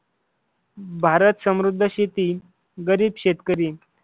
भारत समृद्ध शेती गरीब शेतकरी